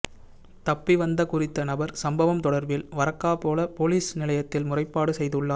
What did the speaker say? தப்பிவந்த குறித்த நபர் சம்பவம் தொடர்பில் வரக்காபொல பொலிஸ் நிலையத்தில் முறைப்பாடு செய்துள்ளார்